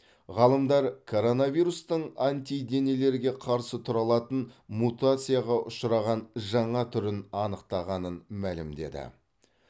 ғалымдар коронавирустың антиденелерге қарсы тұра алатын мутацияға ұшыраған жаңа түрін анықтағанын мәлімдеді